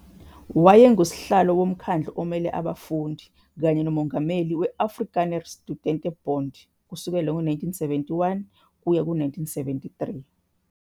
Wayengusihlalo woMkhandlu omele Abafundi kanye nomongameli we-Afrikaner Studentebond, kusukela ngo-1971 kuya ku-1973.